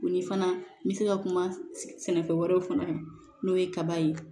Ni fana n bɛ se ka kuma sɛnɛfɛn wɛrɛw fana n'o ye kaba ye